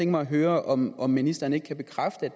mig at høre om om ministeren ikke kan bekræfte